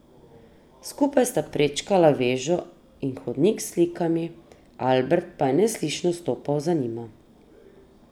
Skupaj sta prečkala vežo in hodnik s slikami, Albert pa je neslišno stopal za njima.